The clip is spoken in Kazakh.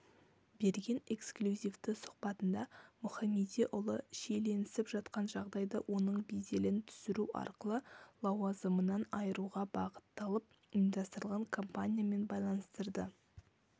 берген эксклюзивті сұхбатында мұхамедиұлы шиеленісіп жатқан жағдайды оның беделін түсіру арқылы лауазымынан айыруға бағытталып ұйымдастырылған компаниямен байланыстырды